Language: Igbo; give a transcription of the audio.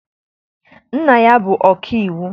Nna ya bụ ọkaiwu.